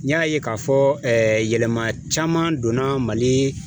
N y'a ye k'a fɔ yɛlɛma caman donna Mali